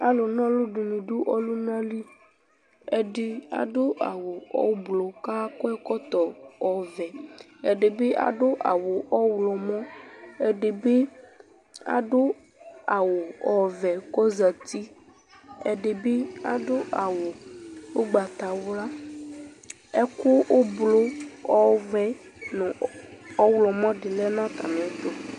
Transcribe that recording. Alu na ɔlu du ɔlunali ɛdi adu awu ublu kakɔ ɛkɔtɔ ɔvɛ ɛdinibi adu awu ɔɣlomɔ ɛdibi adu awu ɔvɛ kɔzati ɛdibi adu awu ugbatawla ɛku ublu ɔvɛ ɔɣlomɔ ɛdi lɛ nu atamiɛtu